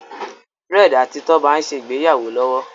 Fred àti Toba n'se ìgbéyàwó lówó.